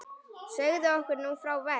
Segðu okkur nú frá verk